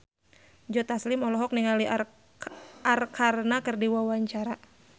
Joe Taslim olohok ningali Arkarna keur diwawancara